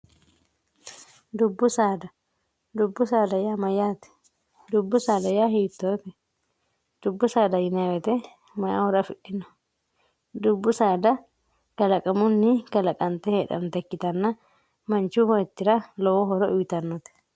dubbu saada dubbu saada yaa mayyaati dubbu saada yaa hiittooti dubbu saada yinwete mayi horo afidhino dubbu saada kalaqamunni kalaqante heedhanota ikkitanna manchu beettira lowo horo uyitannote